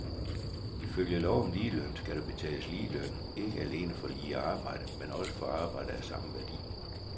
Ifølge lov om ligeløn skal der betales lige løn ikke alene for lige arbejde, men også for arbejde af samme værdi.